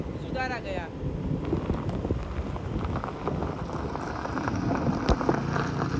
सुधारा गया